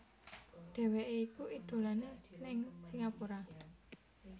Dheweké iku idolané ning Singapura